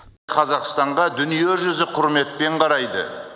қазақстанға дүниежүзі құрметпен қарайды